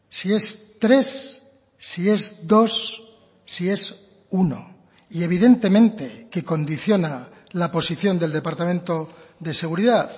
si es tres si es dos si es uno y evidentemente que condiciona la posición del departamento de seguridad